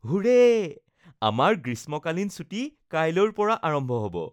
হুৰে, আমাৰ গ্ৰীষ্মকালীন ছুটী কাইলৈৰ পৰা আৰম্ভ হ’ব